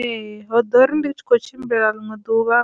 Ee, hoḓori ndi tshi kho tshimbila ḽiṅwe ḓuvha